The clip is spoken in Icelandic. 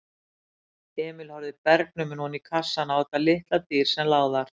Emil horfði bergnuminn oní kassann á þetta litla dýr sem lá þar.